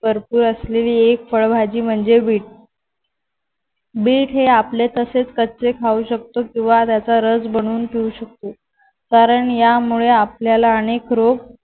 भरपूर असलेली एक फळभाजी म्हणजे बीट बीट हे कापले तसेच कच्चे खाऊ शकतो किंवा त्याचा रस बनवून पियू शकतो कारण यामुळे आपल्याला अनेक रोग